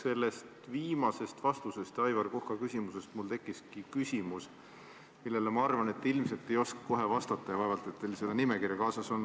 Sellest viimasest vastusest Aivar Koka küsimusele tekkis mul küsimus, millele, ma arvan, te ilmselt ei oska kohe vastata, sest vaevalt teil see nimekiri kaasas on.